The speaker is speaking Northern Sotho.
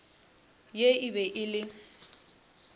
ye e be e le